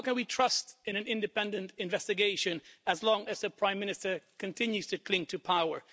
How can we trust in an independent investigation as long as the Prime Minister continues to cling to power?